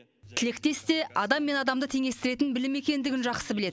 тілектес те адам мен адамды теңестіретін білім екендігін жақсы біледі